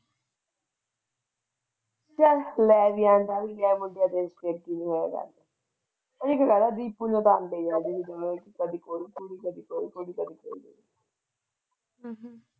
ਚੱਲ ਲੈ ਵੀ ਆਉਂਦਾ ਵਿਆਹ ਕੇ ਦੀਪੂ ਦੇ ਕੰਮ ਹੈ ਕਦੇ ਕੋਈ ਕੁੜੀ ਕਦੇ ਕੋਈ ਕੁੜੀ ਹਮ